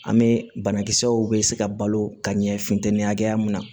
An bɛ banakisɛw bɛ se ka balo ka ɲɛ funtɛni hakɛya min na